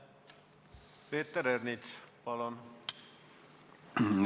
Peeter Ernits, palun!